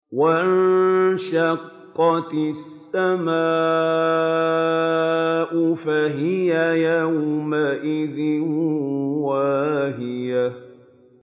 وَانشَقَّتِ السَّمَاءُ فَهِيَ يَوْمَئِذٍ وَاهِيَةٌ